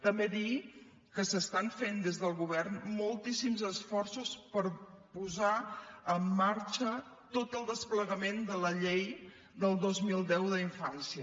també dir que s’estan fent des del govern moltíssims esforços per posar en marxa tot el desplegament de la llei del dos mil deu de la infància